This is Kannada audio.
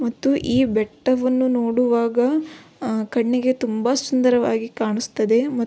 ಮತ್ತು ಈ ಬೆಟ್ಟವನ್ನು ನೋಡುವಾಗ ಆಹ್ಹ್ ಕಣ್ಣಿಗೆ ತುಂಬ ಸುಂದರವಾಗಿ ಕಾಣಿಸುತ್ತದೆ --